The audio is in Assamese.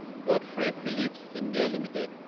Godfrey Phillips India Ltd